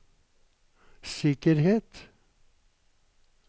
sikkerhet